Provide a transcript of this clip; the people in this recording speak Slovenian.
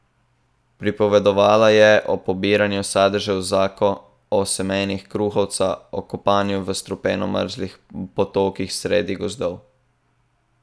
Pripovedovala je o pobiranju sadežev zako, o semenih kruhovca, o kopanju v strupeno mrzlih potokih sredi gozdov.